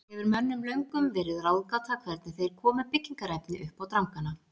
Hefur mönnum löngum verið ráðgáta hvernig þeir komu byggingarefni uppá drangana.